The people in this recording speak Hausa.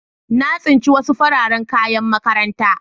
Na tsince wasu fararen kayan makaranta.